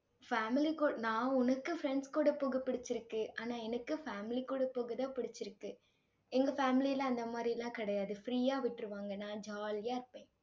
family கூட நான் உனக்கு friends கூட போக பிடிச்சிருக்கு. ஆனா எனக்கு family கூட போகதான் பிடிச்சிருக்கு எங்க family ல அந்த மாதிரி எல்லாம் கிடையாது. free ஆ விட்டுருவாங்க. நான் jolly ஆ இருப்பேன்.